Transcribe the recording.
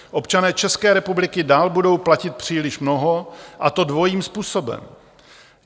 Občané České republiky dál budou platit příliš mnoho, a to dvojím způsobem.